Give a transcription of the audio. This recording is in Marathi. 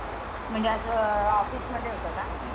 म्हणजे असं Office मध्ये होत का?